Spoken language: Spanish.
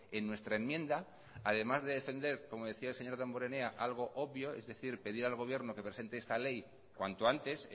en nuestra enmienda además de defender como decía el señor damborenea algo obvio es decir pedir al gobierno que presente esta ley cuanto antes